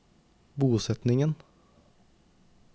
bosetningen